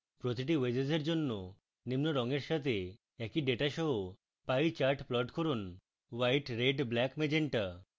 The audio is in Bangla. প্রতিটি wedges এর জন্য নিম্ন রঙের সাথে একই ডেটা সহ pie chart plot করুন white red black magenta